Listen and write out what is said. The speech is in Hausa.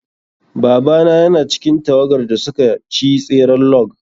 Babana yana cikin tawagar da suka ci tseren log.